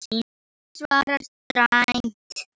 Ég svara dræmt.